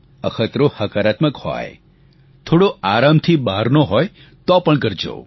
અખતરો હકારાત્મક હોય થોડો આરામથી બહારનો હોય તો પણ કરજો